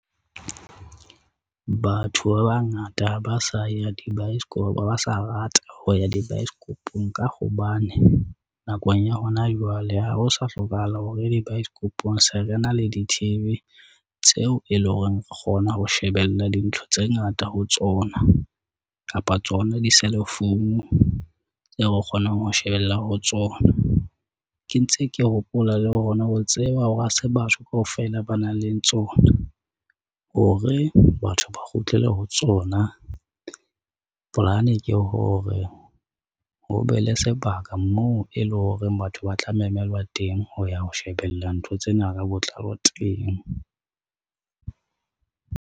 Batho ba bangata ha ba sa ya di baesekopo, ha ba sa rata ho ya di baesekopong. Ka hobane nakong ya hona jwale ha ho sa hlokahala hore di baesekopong. Se re na le di-T_V tseo e leng hore re kgona ho shebella dintlha tse ngata ho tsona kapa tsona di-cell phone re kgonang ho shebella ho tsona. Ke ntse ke hopola le rona ho tseba hore hase batho kaofela ba nang le tsona hore batho ba kgutlele ho tsona. Polane ke hore ho be le sebaka moo e leng horeng batho ba tla memelwa teng ho ya ho shebella ntho tsena ba botlalo teng.